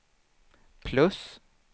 plus